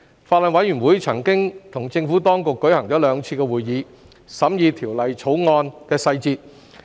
法案委員會曾與政府當局舉行兩次會議，審議《條例草案》的細節。